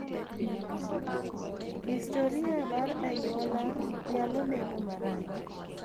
Historia mar anyuola nyalo neno marach.